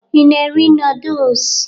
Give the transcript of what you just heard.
Ị na-eri nọọdụs?